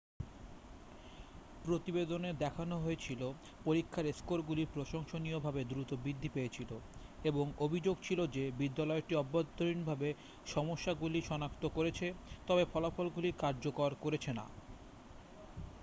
প্রতিবেদনে দেখানো হয়েছিল পরীক্ষার স্কোরগুলি প্রশংসনীয়ভাবে দ্রুত বৃদ্ধি পেয়েছিল এবং অভিযোগ ছিল যে বিদ্যালয়টি অভ্যন্তরীণভাবে সমস্যাগুলি সনাক্ত করেছে তবে ফলাফলগুলি কার্যকর করেছে না